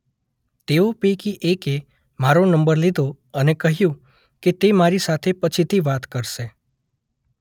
તેઓ પૈકી એકે મારો નંબર લીધો અને કહ્યું કે તે મારી સાથે પછીથી વાત કરશે.